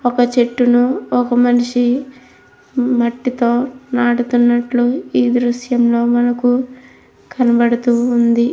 ఒక చెట్టును ఒక మనిషి మట్టితో నాటుతున్నట్టు ఈ దృశ్యం లో మనకు కనపడుతూ ఉంది.